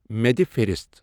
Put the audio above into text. مےٚ دِ فہرست